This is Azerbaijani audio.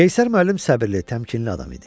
Qeyşər müəllim səbirli təmkinli adam idi.